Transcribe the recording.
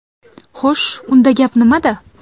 Xo‘sh, unda gap nimada?